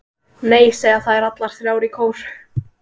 Nei, segja þær allar þrjár í kór.